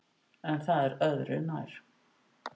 En það er öðru nær.